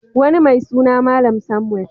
Wani mai suna Malam Samuel.